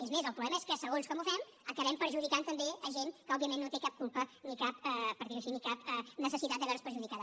és més el problema és que segons com ho fem acabem perjudicant també gent que òbviament no té cap culpa ni cap per dir ho així necessitat de veure se’n perjudicada